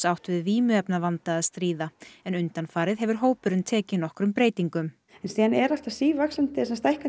átt við vímuefnavanda að stríða en undanfarið hefur hópurinn tekið nokkrum breytingum það er alltaf sívaxandi